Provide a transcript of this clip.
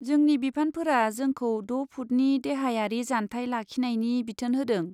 जोंनि बिफानफोरा जोंखौ द' फुटनि देहायारि जानथाय लाखिनायनि बिथोन होदों।